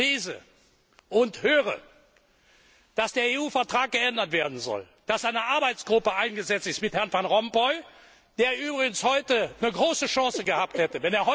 Ich lese und höre, dass der EU Vertrag geändert werden soll, dass eine Arbeitsgruppe eingesetzt wurde mit Herrn Van Rompuy, der übrigens heute eine große Chance gehabt hätte.